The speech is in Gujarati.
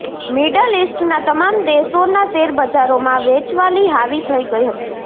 મિડલ ઇસ્ટના તમામ દેશોના શેરબજારોમાં વેચવાલી હાવી થઇ ગઇ હતી